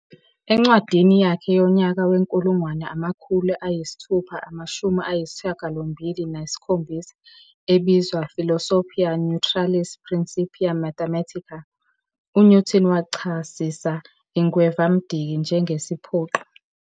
Encwadini yakhe yonyaka we-1687 ebizwa "Philosophiae Naturalis Principia Mathematica", UNewton wachasisa ingwevamdiki njengesiphoqi-